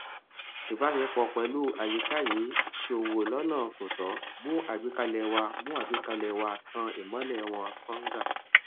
ìbáṣepọ pẹlú àyíká yìí ṣòwò lọnà kò tọ mú àgbékalẹ wá mú àgbékalẹ wá tàn ìmọlẹ wọn sànga